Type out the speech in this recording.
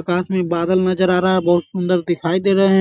आकाश में बादल नज़र आ रहा है बहुत सुंदर दिखाई दे रहें हैं।